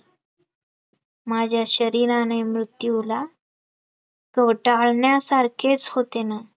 माझ्या शरीराने मृत्यूला, चोटाळण्या सारखेच होते ना